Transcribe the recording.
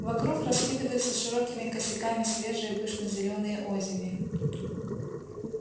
вокруг раскидываются широкими косяками свежие пышно-зелёные озими